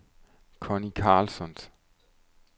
Connie Carlsson